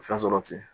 Fɛn sɔrɔ ten